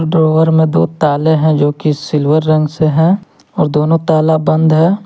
Driver में दो तले हैं जो की सिल्वर रंग से है और दोनों ताला बंद है।